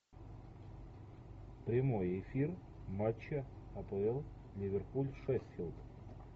прямой эфир матча апл ливерпуль шеффилд